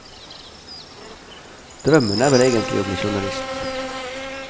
Drømmen er vel egentlig å bli journalist.